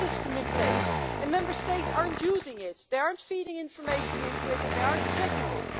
have a system in place and Member States are not using it, they are not feeding information into it, and they are not checking it.